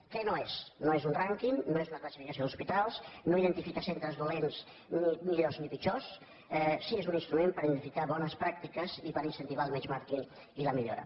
què no és no és un rànquing no és una classificació d’hospitals no identifica centres dolents ni millors ni pitjors sí que és un instrument per identificar bones pràctiques i per incentivar el benchmarkingllora